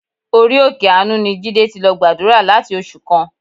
Orí òkè àánú ni Jídé ti lọ gbàdúrà láti oṣù kan.